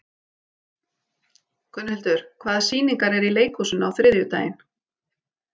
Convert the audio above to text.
Gunnhildur, hvaða sýningar eru í leikhúsinu á þriðjudaginn?